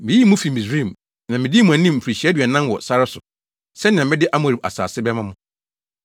Miyii mo fii Misraim, na midii mo anim mfirihyia aduanan wɔ sare so sɛnea mede Amorifo asase bɛma mo.